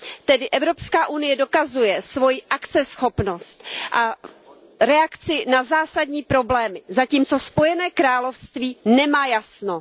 Tedy Evropská unie dokazuje svoji akceschopnost a reakci na zásadní problémy, zatímco Spojené království nemá jasno.